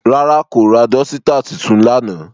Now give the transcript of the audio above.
Rara, ko ra dọsitạ titun lana.